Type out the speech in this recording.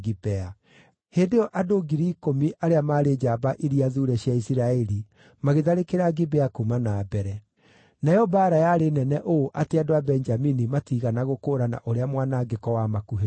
Hĩndĩ ĩyo andũ ngiri ikũmi arĩa maarĩ njamba iria thuure cia Isiraeli magĩtharĩkĩra Gibea kuuma na mbere. Nayo mbaara yarĩ nene ũũ atĩ andũ a Benjamini matiigana gũkũũrana ũrĩa mwanangĩko wamakuhĩrĩirie.